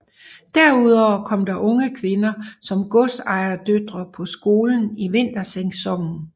Derudover kom der unge kvinder som godsejerdøtre på skolen i vintersæsonen